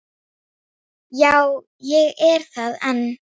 Já, ég er það enn.